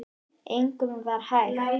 Engum var vægt.